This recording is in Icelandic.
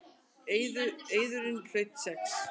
Eiðurinn hlaut sex.